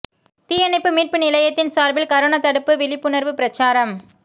தீயணைப்பு மீட்பு நிலையத்தின் சார்பில் கரோனா தடுப்பு விழிப்புணர்வு பிரசாரம்